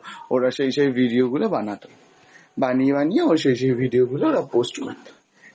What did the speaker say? ওরা সেই সেই video গুলো বানাত, বানিয়ে বানিয়ে ওরা সেই সেই video গুলো ওরা post করত